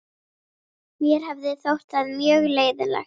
Mér hefði þótt það mjög leiðinlegt.